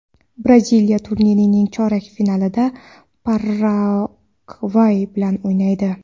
Braziliya turnirning chorak finalida Paragvay bilan o‘ynaydi.